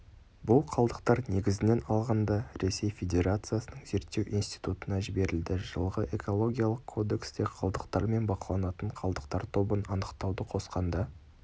бұл қалдықтар негізінен алғанда ресей федерациясының зерттеу институтына жіберілді жылғы экологиялық кодексте қалдықтар мен бақыланатын қалдықтар тобын анықтауды қосқанда